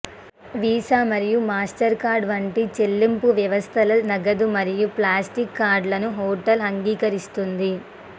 visa మరియు Mastercard వంటి చెల్లింపు వ్యవస్థల నగదు మరియు ప్లాస్టిక్ కార్డులను హోటల్ అంగీకరిస్తుంది